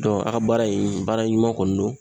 a ka baara in, baara ɲuman kɔni don.